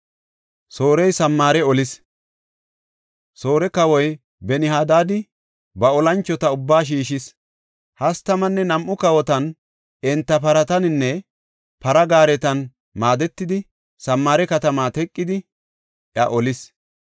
Soore kawoy Ben-Hadaadi ba olanchota ubbaa shiishis. Hastamanne nam7u kawotan, enta parataninne para gaaretan maadetidi, Samaare katamaa teqidi; iya olis.